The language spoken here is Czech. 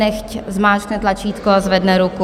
Nechť zmáčkne tlačítko a zvedne ruku.